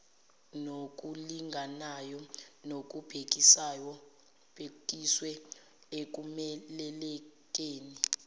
nokulinganayo nokubhekiswe ekumelelekeni